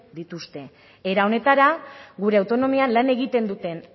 dituzte era honetara gure autonomian lan egiten duten